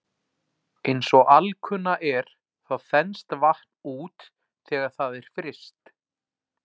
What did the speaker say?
Eins og alkunna er þá þenst vatn út þegar það er fryst.